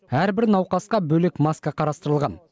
әрбір науқасқа бөлек маска қарастырылған